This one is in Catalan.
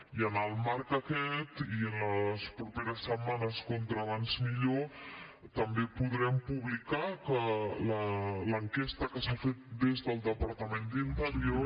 i en el marc aquest i en les properes setmanes com més aviat millor també podrem publicar l’enquesta que s’ha fet des del departament d’interior